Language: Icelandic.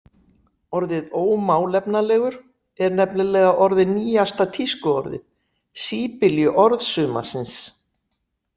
Orðið „ómálefnalegur“ er nefnilega orðið nýjasta tískuorðið, síbyljuorð sumarsins.